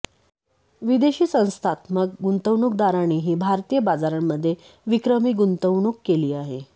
विदेशी संस्थात्मक गुंतवणूकदारांनीही भारतीय बाजारांमध्ये विक्रमी गुंतवणूक केली आहे